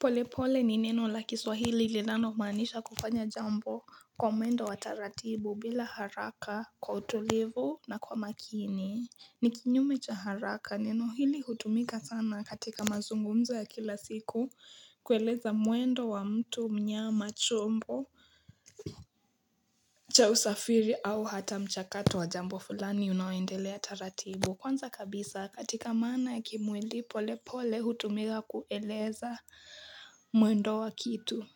Polepole ni neno la kiswahili lilinalo maanisha kufanya jambo kwa mwendo wa taratibu bila haraka, kwa utulivu, na kwa makini. Ni kinyume cha haraka. Neno hili hutumika sana katika mazungumzo ya kila siku kueleza mwendo wa mtu, mnyama, chombo cha usafiri, au hata mchakato wa jambo fulani unaoendelea taratibu. Kwanza kabisa, katika maana ya kimwili, polepole hutumika kueleza mwendo wa kitu.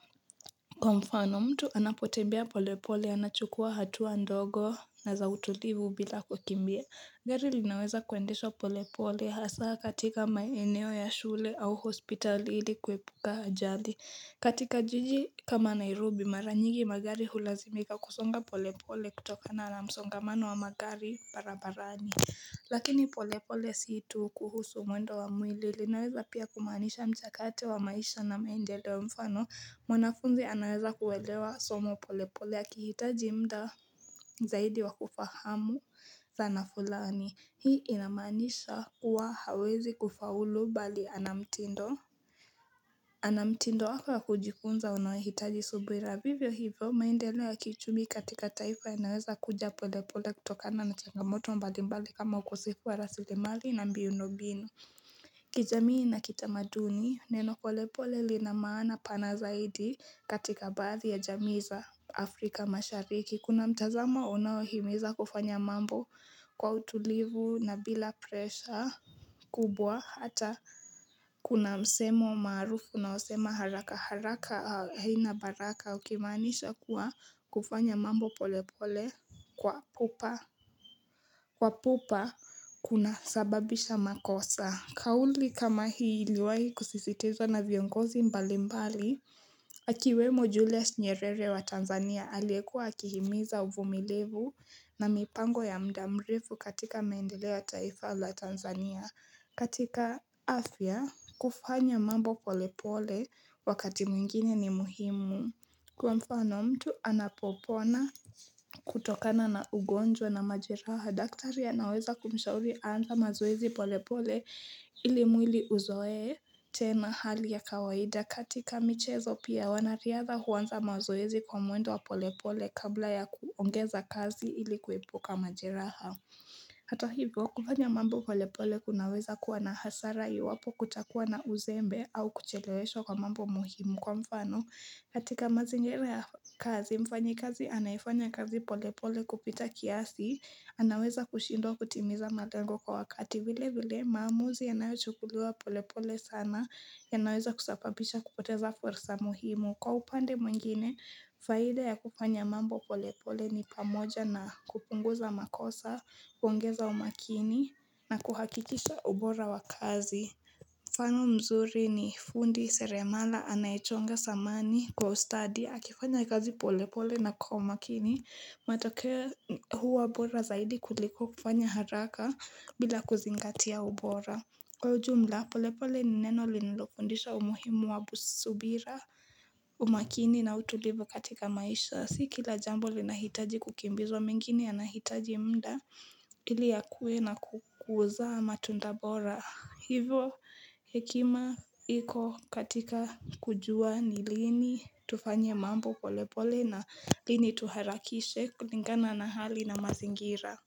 Kwa mfano, mtu anapotembea polepole, anachukua hatua ndogo na za utulivu bila kukimbia. Gari linaweza kuendeshwa polepole, hasa katika maeneo ya shule au hospitali, ili kuepuka ajali. Katika jiji kama Nairobi, mara nyigi magari hulazimika kusonga polepole kutokana na msongamano wa magari barabarani. Lakini polepole sio tu kuhusu mwendo wa mwili, linaweza pia kumaanisha mchakato wa maisha na maendeleo. Kwa mfano, mwanafunzi anaweza kuelewa somo polepole anapohitaji muda zaidi wa kufahamu zana fulani. Hii inamaanisha huwa hawezi kufaulu bali ana mtindo ana mtindo wake wa kujifunza unaohitaji subira. Vivyo hivyo maendeleo ya kiuchumi katika taifa linaweza kuja polepole kutokana na changamoto mbalimbali kama ukosefu wa rasilimali na miundombinu kijamii na kitamaduni, neno polepole linamana pana zaidi katika baadhi ya jamii za Afrika mashariki. Kuna mtazamo unaohimiza kufanya mambo kwa utulivu na bila pressure kubwa hata kuna msemo maarufu unaosema 'haraka haraka haina baraka' ukimaanisha kuwa, kufanya mambo polepole kwa pupa husababisha makosa. Kauli kama hii iliwahi kusisitizwa na viongozi mbalimbali Akiwemo Julius Nyerere wa Tanzania aliyekua akihimiza uvumilivu na mipango ya muda mrefu katika maendeleo taifa la Tanzania. Katika afya, kufanya mambo polepole wakati mwingine ni muhimu Kwa mfano, mtu anapopona kutokana na ugonjwa na majeraha, daktari anaweza kumshauri aanze mazoezi polepole ili mwili uzoe tena hali ya kawaida. Katika michezo pia, wanariadha huanza mazoezi kwa mwendo wa polepole kabla ya kuongeza kasi ili kuepuka majeraha. Hata hivyo, kufanya mambo polepole kunaweza kuwa na hasara iwapo kutakuwa na uzembe au kucheleweshwa kwa mambo muhimu. Kwa mfano, katika mazingira ya kazi, mfanyikazi anayefanya kazi polepole kupita kiasi, anaweza kushindwa kutimiza malengo kwa wakati. Vilevile, maamuzi yanayochukuliwa polepole sana yanaweza kusababisha kupoteza fursa muhimu. Kwa upande mwingine, faida ya kufanya mambo polepole ni pamoja na kupunguza makosa, kuongeza umakini, na kuhakikisha ubora wa kazi. Mfano mzuri ni fundi seremala anayechonga samani kwa ustadi, akifanya kazi polepole na kwa umakini, matokeo huwa bora zaidi kuliko kufanya haraka bila kuzingatia ubora. Kwa ujumla, polepole ni neno linilofundisha umuhimu wa subira, umakini, na utulivu katika maisha. Si kila jambo linahitaji kukimbizwa, mengine yanahitaji muda ili yakue na kuzaa matunda bora. Hivyo hekima iko katika kujua ni lini tufanye mambo polepole na lini tuharakishe, kulingana na hali na mazingira.